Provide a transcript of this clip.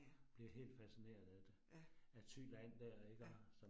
Ja. Ja. Ja